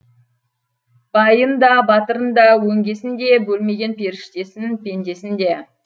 байын да батырын да өңгесін де бөлмеген періштесін пендесін де